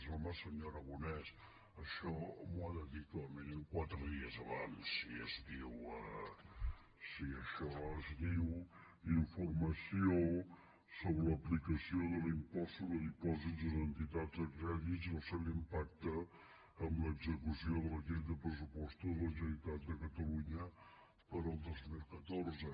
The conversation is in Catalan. home senyor aragonès això m’ho ha de dir com a mínim quatre dies abans si això es diu informació sobre l’aplicació de l’impost sobre dipòsits en entitats de crèdit i el seu impacte en l’execució de la llei de pressupostos de la generalitat de catalunya per al dos mil catorze